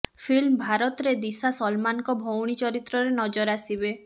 film ଭାରତରେ ଦିଶା ସଲମାନଙ୍କ ଭଉଣୀ ଚରିତ୍ରରେ ନଜର ଆସିବେ